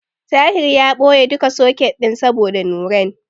Tahir ya ɓoye duka soket ɗin saboda Nurain.